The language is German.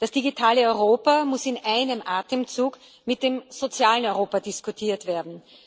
Das digitale Europa muss in einem Atemzug mit dem sozialen Europa diskutiert werden.